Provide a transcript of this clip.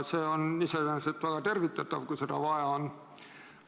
See on iseenesest väga tervitatav, kui seda vaja on.